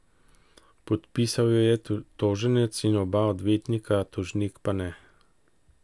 Podpisal jo je toženec in oba odvetnika, tožnik pa ne.